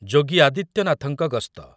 ଯୋଗୀ ଆଦିତ୍ୟନାଥଙ୍କ ଗସ୍ତ